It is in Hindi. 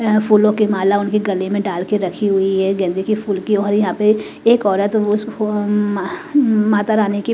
ऐंय फूलों की माला उनके गले में डाल के रखी हुई है गेंदे की फूल की और यहाँ पे एक औरत उस फो माह अ माता रानी की --